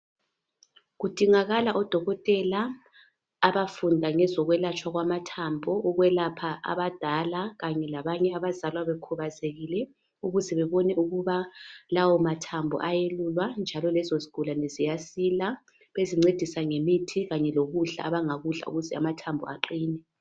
Kudingakala odokotela abafunda ngezokwelatshwa kwamathambo ukwelapha abadala kanye labanye abazalwa bekhubazekile ukuze bebone ukuba lawo mathambo eyelulwa njalo lezo zigulane ziyasila bezincedisa ngemithi lokudla abangakudla ukuze amathambo aqine .